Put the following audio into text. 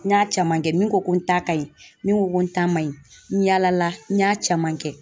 N y'a caman kɛ. Min ko ko n ta ka ɲi, min ko ko n ta man ɲi n yala la n y'a caman kɛ.